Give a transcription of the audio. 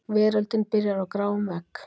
Veröldin byrjar í gráum vegg.